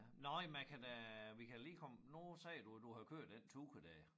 Nåh jamen jeg kan da vi kan lige komme nu sagde du at du havde kørt den tur der